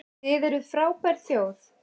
Þið eruð frábær þjóð!